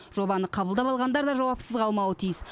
жобаны қабылдап алғандар да жауапсыз қалмауы тиіс